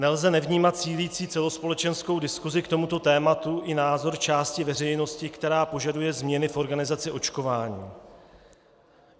Nelze nevnímat sílící celospolečenskou diskusi k tomuto tématu i názor části veřejnosti, která požaduje změny v organizaci očkování.